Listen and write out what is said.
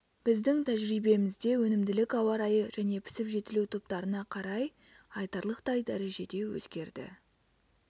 біздің тәжірибемізде өнімділік ауа райы және пісіп-жетілу топтарына қарай айтарлықтай дәрежеде өзгерді